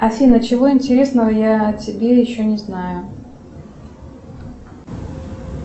афина чего интересного я о тебе еще не знаю